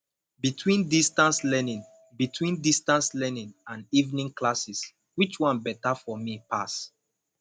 between distance learning between distance learning and evening classes which one better for me pass